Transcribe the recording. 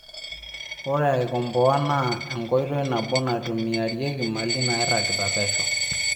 Ore aikomboa naa enkoitoi nabo naitumiarieki mali nairagita pesho